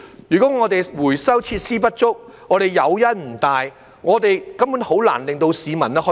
如果回收設施不足，誘因不大，根本很難令到市民實踐。